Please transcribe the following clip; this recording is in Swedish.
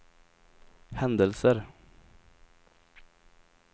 händelser